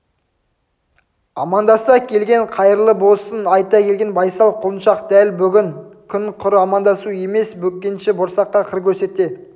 амандаса келген қайырлы босын айта келген байсал құлыншақ дәл бүгінгі күн құр амандасу емес бөкенші борсаққа қыр көрсете